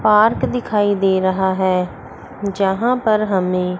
park दिखाई दे रहा है यहां पर हमें--